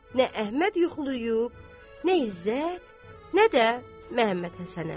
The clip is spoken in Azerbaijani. Nə Əhməd yuxulayıb, nə İzzət, nə də Məmmədhəsən əmi.